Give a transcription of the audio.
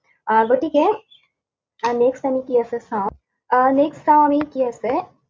আহ গতিকে আহ next আমি কি আছে চাওঁ, আহ next চাওঁ আমি কি আছে।